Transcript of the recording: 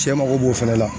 Cɛ mago b'o fana la